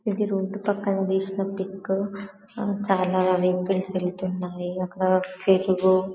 ఇది రోడ్డు పక్కన తీసిన పిక్ చాలా వెహికల్స్ వెళ్తున్నాయి అక్కడ --